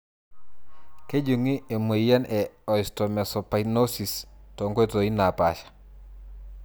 Kejungi emoyian e Osteomesopyknosis tonkoitoi napasha.